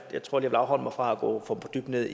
jeg tror jeg vil afholde mig fra at gå for dybt ned